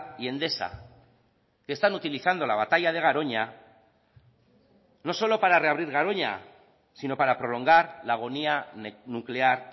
y endesa que están utilizando la batalla de garoña no solo para reabrir garoña sino para prolongar la agonía nuclear